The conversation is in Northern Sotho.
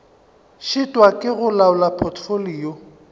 šitwa ke go laola potfolio